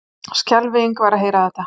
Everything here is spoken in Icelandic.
Skelfing var að heyra þetta.